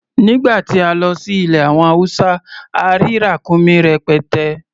Nìgbà tí a lọ sí ilẹ̀ àwọn Hausa, a rí ràkúnmí rẹpẹtẹ.